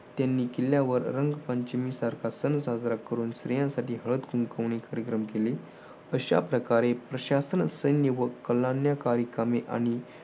त्यांनी किल्ल्यावर रंगपंचमी सारखा सण साजरा करून स्त्रियांसाठी हळद कुंकवनी कार्यक्रम केले. अशा प्रकारे प्रशासन सैन्य व कलाने कार्यक्रमे आणि